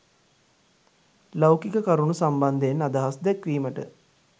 ලෞකික කරුණු සම්බන්ධයෙන් අදහස් දැක්වීමට